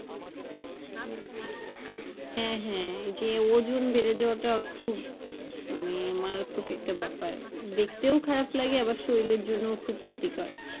হ্যাঁ হ্যাঁ যে ওজন বেড়ে যাওয়ার টা খুব মানে একটা মারাত্মক ব্যাপার। দেখতেও খারাপ লাগে আবার শরীরের জন্যও খুব ক্ষতিকর।